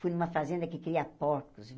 Fui numa fazenda que cria porcos.